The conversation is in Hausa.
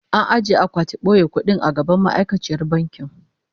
An ajiye akwatin boye kudi a gaban ma'aikaciyar bankin